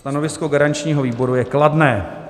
Stanovisko garančního výboru je kladné.